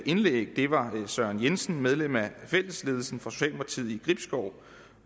indlæg det var søren jensen medlem af fællesledelsen for socialdemokratiet i gribskov